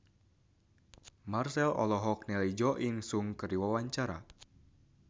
Marchell olohok ningali Jo In Sung keur diwawancara